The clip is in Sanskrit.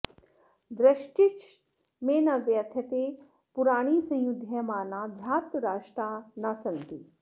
दृष्टिश्च मे न व्यथते पुराणी संयुध्यमाना धार्तराष्ट्रा न सन्ति